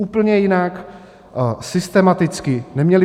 Úplně jinak, systematicky.